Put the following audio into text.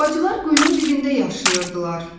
Bacılar quyunun dibində yaşayırdılar.